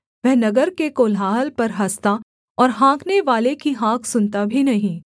वह नगर के कोलाहल पर हँसता और हाँकनेवाले की हाँक सुनता भी नहीं